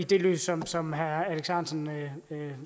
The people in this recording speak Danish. det lys som som herre alex ahrendtsen